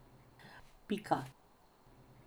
Pika.